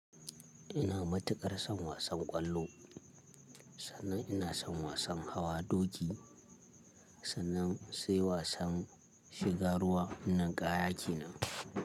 Ina matuƙar son wasan ƙwallo, sannan ina son wasan hawa doki, sannan sai wasan shiga ruwa. Nin kaya ke nan.